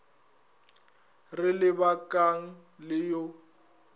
re le bakang le yo